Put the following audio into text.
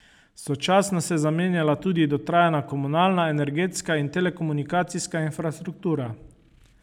Sočasno se je zamenjala tudi dotrajana komunalna, energetska in telekomunikacijska infrastruktura.